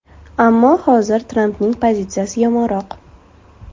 Ammo hozir Trampning pozitsiyasi yomonroq.